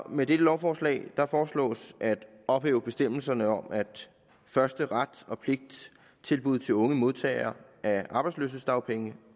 med dette lovforslag foreslås at ophæve bestemmelserne om at første ret og pligt tilbud til unge modtagere af arbejdsløshedsdagpenge